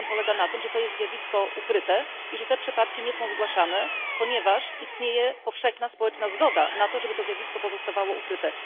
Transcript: Problem polega na tym, że to jest zjawisko ukryte i że te przypadki nie są zgłaszane, ponieważ istnieje powszechna społeczna zgoda na to, żeby to zjawisko pozostawało ukryte.